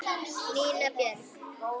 Nína Björk.